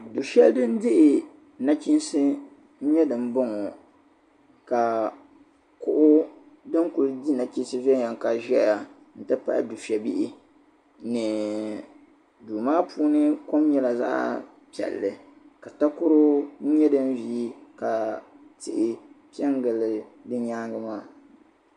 Du'shɛli din m-be nachiinsi n-nyɛ din m-bɔŋɔ ka kuɣu din kuli di nachiinsi viɛnyɛla ka zaya n ti pahi dufɛ'bihi ni duu maa puuni kom nyɛla zaɣ'piɛlli ka takoro n-yɛ din ve ka tihi n-pɛngilli di nyaaŋa maa